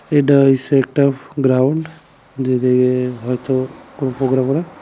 এডা হইছে একটা ফো-গ্রাউন্ড যেদিকে হয়তো কোনো ।